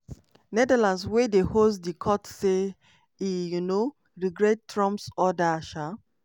netherlands wey dey host di court say e um "regret" trump's order. um